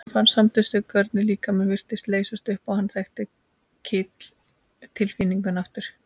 Hann fann samstundis hvernig líkaminn virtist leysast upp og hann þekkti kitl tilfinninguna aftur.